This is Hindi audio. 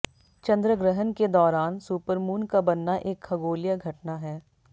चंद्र ग्रहण के दौरान सुपरमून का बनना एक खगोलीय घटना है